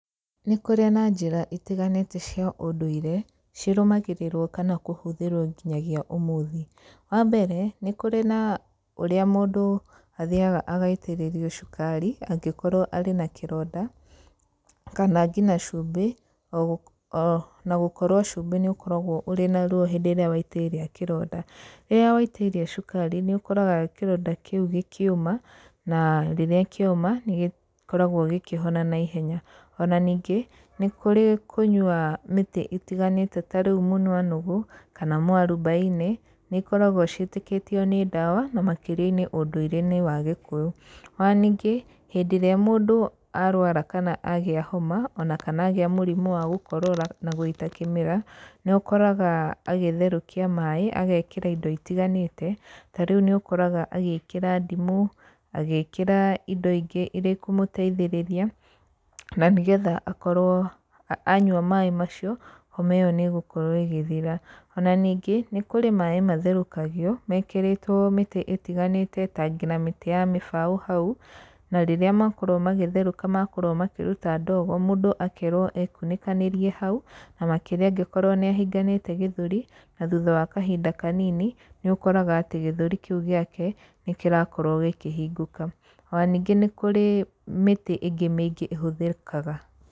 Nĩ kũrĩ na njĩra itiganĩte cia ũndũire cirũmagĩrĩrwo kana kũhũthĩrwo nginyagia ũmũthĩ. Wa mbere nĩ kũrĩ na ũrĩa mũndũ athiaga agaitĩrĩrio cukari angĩkorwo arĩ na kĩronda kana ngina cumbĩ ona gũkorwo cũmbi nĩũkoragwo ũrĩ na ruo hĩndĩ ĩrĩa waitĩrĩria kĩronda. Rĩrĩa waitĩrĩria cukari nĩ ũkoraga kĩronda kĩu gĩkĩũma na rĩrĩa kĩoma nĩ gĩkoragwo gĩkĩhona na ihenya. Ona ningĩ nĩ kũrĩ kũnywa mĩtĩ ĩtiganĩte tarĩu mũnwa nũgũ kana mũarubaine nĩĩkoragwo cĩĩtĩkĩtĩo nĩ ndawa na makĩrĩa-inĩ ũndũire inĩ wa gĩkũyũ. Ona ningĩ hĩndĩ ĩrĩa mũndũ arũara kana agĩa homa ona kana agĩa mũrimũ wa gũkorora na gũita kĩmira nĩ ũkoraga agĩtherũkia maĩ agekĩra indo itiganĩte tarĩu nĩ ũkoraga agĩkĩra ndimũ, agĩkĩra indo ingĩ iria ikũmũteithĩrĩria na nĩgetha akorwo anyua maĩ macio homa ĩyo nĩ ĩgũkorwo ĩgĩthira. Ona ningĩ nĩ kũrĩ maĩ matherũkagĩo mekĩrĩtwo mĩtĩ ĩtiganĩte ta ngina mĩtĩ ya mĩbaũ hau na rĩrĩa makorwo magĩtherũka makorwo makĩruta ndogo mũndũ akerwo ekunĩkanĩrie hau na makĩria angĩkorwo nĩ ahinganĩte gĩthũri na thutha wa kahinda kanini nĩ ũkoraga atĩ gĩthũri kĩu gĩake nĩ kĩrakorwo gĩkĩhingũka. Ona ningĩ nĩ kũrĩ mĩtĩ ĩngĩ mĩingĩ ĩhũthĩkaga.